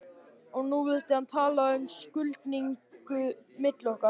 Og nú vildi hann tala um skuldbindingu milli okkar.